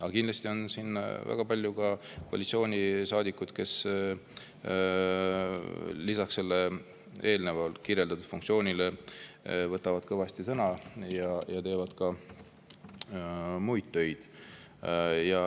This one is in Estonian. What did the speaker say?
Aga kindlasti on siin ka väga palju koalitsioonisaadikuid, kes lisaks sellele funktsioonile võtavad kõvasti sõna ja teevad muid töid.